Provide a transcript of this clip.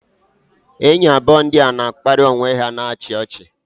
enyi abụọ ndị a nọ na-akparị onwe ha na-achị ọchị.